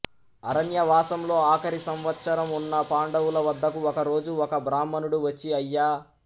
అరణ్యవాసంలో ఆఖరి సంవత్సరం ఉన్న పాండవుల వద్దకు ఒక రోజు ఒక బ్రాహ్మణుడు వచ్చి అయ్యా